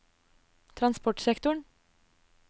transportsektoren